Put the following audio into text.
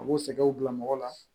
A b'o sɛgɛnw bila mɔgɔ la